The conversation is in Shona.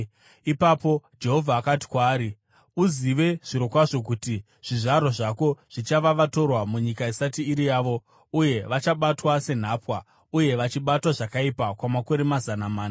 Ipapo Jehovha akati kwaari, “Uzive zvirokwazvo kuti zvizvarwa zvako zvichava vatorwa munyika isati iri yavo, uye vachabatwa senhapwa uye vachibatwa zvakaipa kwamakore mazana mana.